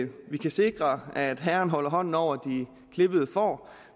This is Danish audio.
vi kan sikre at herren holder hånden over de klippede får